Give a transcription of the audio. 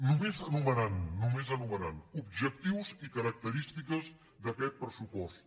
només enumerant només enu·merant objectius i característiques d’aquest pressu·post